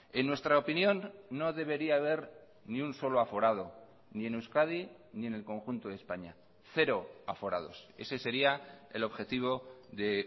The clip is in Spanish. en nuestra opinión no debería haber ni un solo aforado ni en euskadi ni en el conjunto de españa cero aforados ese sería el objetivo de